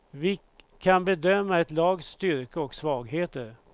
Vi kan bedöma ett lags styrka och svagheter.